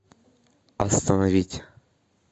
остановить